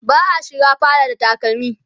ba'a shiga fada da takalmi